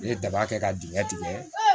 Ne ye daba kɛ ka dingɛ tigɛ